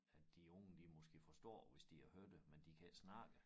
At de unge de måske forstår hvis de har hørt det men de kan ikke snakke det